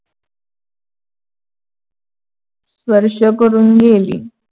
स्पर्श करून गेली.